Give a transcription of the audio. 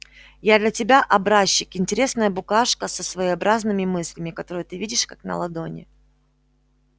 я для тебя образчик интересная букашка со своеобразными мыслями которые ты видишь как на ладони